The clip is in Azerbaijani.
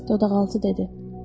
Corc dodağaltı dedi.